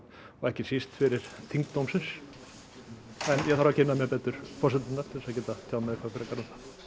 og ekki síst fyrir þyngd dómsins en ég þarf að kynna mér betur forsendurnar til að geta tjáð mig eitthvað frekar um það